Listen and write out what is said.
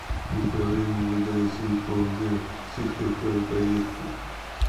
управление мвд россии по г сыктывкару поехали